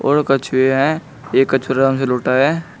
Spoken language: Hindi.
और कछुए हैं एक कछु अराम से लोटा है।